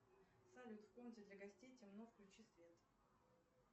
салют в комнате для гостей темно включи свет